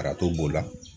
Arajo b'o la